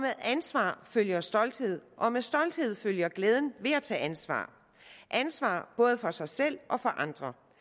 ansvar følger stolthed og med stolthed følger glæden ved at tage ansvar ansvar både for sig selv og for andre